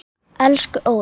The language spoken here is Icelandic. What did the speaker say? Elsku Óla.